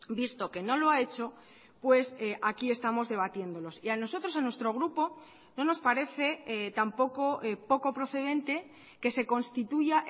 visto que no lo ha hecho pues aquí estamos debatiéndolos y a nosotros a nuestro grupo no nos parece tampoco poco procedente que se constituya